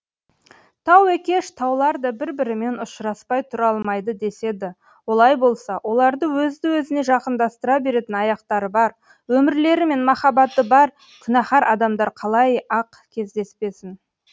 тау екеш таулар да бір бірімен ұшыраспай тұра алмайды деседі олай болса оларды өзді өзіне жақындастыра беретін аяқтары бар өмірлері мен махаббаты бар күнәһар адамдар қалай ақ кездеспесін